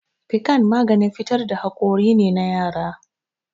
Fikan maganin fitar da hakori ne na yara